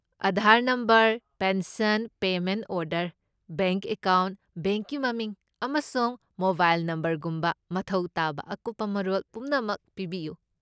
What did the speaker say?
Aadhaar number, pension payment order, bank account, ꯕꯦꯡꯛꯀꯤ ꯃꯃꯤꯡ ꯑꯃꯁꯨꯡ ꯃꯣꯕꯥꯏꯜ ꯅꯝꯕꯔꯒꯨꯝꯕ ꯃꯊꯧ ꯇꯥꯕ ꯑꯀꯨꯞꯄ ꯃꯔꯣꯜ ꯄꯨꯝꯅꯃꯛ ꯄꯤꯕꯤꯌꯨ꯫